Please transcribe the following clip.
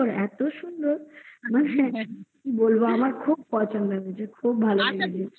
এত সুন্দর কি বলবো আমার খুব পছন্দ খুব পছন্দ